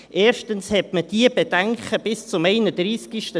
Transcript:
Erstens hatte man diese Bedenken bis zum 31.12.2018 nicht.